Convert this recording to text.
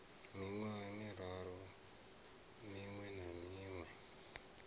miṅwaha miraru miṅwe na miṅwe